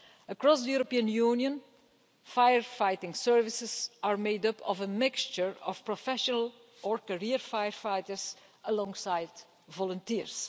Across the European Union, firefighting services are made up of a mixture of professional or career firefighters and volunteers.